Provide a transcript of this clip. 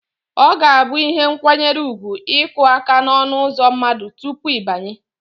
Ọ ga-abụ ihe nkwanyere ugwu ịkụ aka n'ọnụụzọ mmadụ tupu ị banye